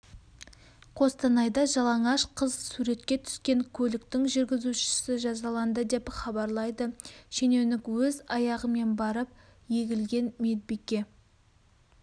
қостанайда жалаңаш қыз суретке түскен көліктің жүргізушісі жазаланды деп хабарлайды шенеунік өз аяғымен барып егілген медбике